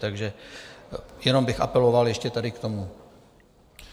Takže jenom bych apeloval ještě tady k tomu.